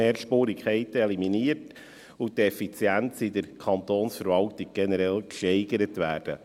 Die Mehrspurigkeiten sollen eliminiert und die Effizienz in der Kantonsverwaltung generell gesteigert werden.